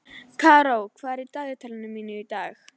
Karó, hvað er á dagatalinu mínu í dag?